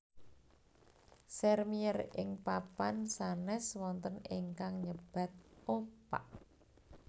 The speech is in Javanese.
Sèrmièr ing papan sanes wonten ingkang nyebat opak